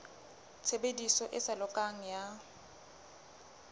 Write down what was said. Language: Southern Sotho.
tshebediso e sa lokang ya